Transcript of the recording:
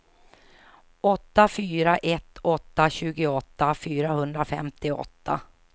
åtta fyra ett åtta tjugoåtta fyrahundrafemtioåtta